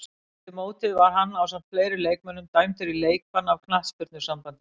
Eftir mótið var hann ásamt fleiri leikmönnum dæmdur í leikbann af knattspyrnusambandinu.